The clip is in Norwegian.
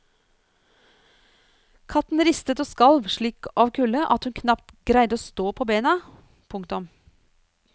Katten ristet og skalv slik av kulde at hun knapt greide å stå på bena. punktum